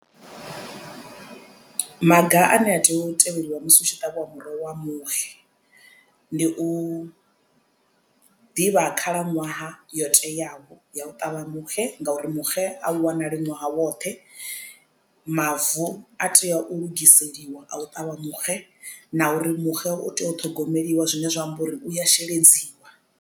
Maga ane a tea u tevheliwa musi hu tshi ṱavhiwa muroho wa muxe ndi u ḓivha khalaṅwaha yo teaho ya u ṱavha muxe ngauri muxe a u wanali ṅwaha woṱhe mavu a tea u lugiseliwa a u ṱavha muxe na uri muxe u tea u ṱhogomeliwa zwine zwa amba uri u ya sheledziwa.